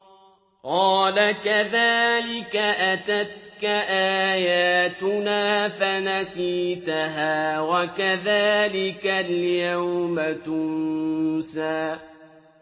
قَالَ كَذَٰلِكَ أَتَتْكَ آيَاتُنَا فَنَسِيتَهَا ۖ وَكَذَٰلِكَ الْيَوْمَ تُنسَىٰ